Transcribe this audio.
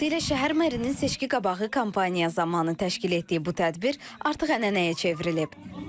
Vaxtilə şəhər merinin seçkiqabağı kampaniya zamanı təşkil etdiyi bu tədbir artıq ənənəyə çevrilib.